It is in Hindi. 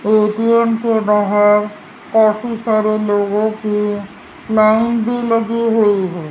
ए_टी_म के बाहर काफी सारे लोगों की लाइन भी लगी हुई है।